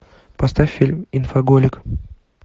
поставь фильм инфоголик